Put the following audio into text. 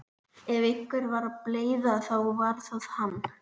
Ef einhver var bleyða þá var það hann.